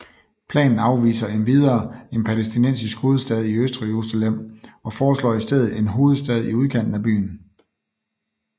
Planen afviser endvidere en palæstinensisk hovedstad i Østjerusalem og forslår i stedet en hovedstad i udkanten af byen